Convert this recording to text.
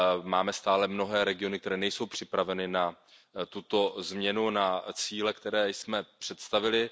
Máme stále mnohé regiony, které nejsou připraveny na tuto změnu, na cíle, které jsme představili.